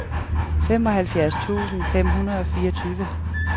femoghalvfjerds tusind fem hundrede og fireogtyve